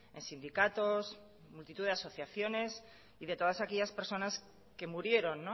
en sindicatos multitud de asociaciones y de todas aquellas personas que murieron